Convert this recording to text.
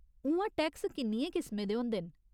उ'आं टैक्स किन्नियें किसमें दे होंदे न ?